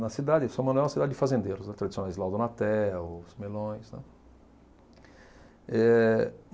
Na cidade, São Manuel é uma cidade de fazendeiros tradicionais, Eh